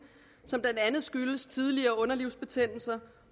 som blandt andet skyldes tidligere underlivsbetændelser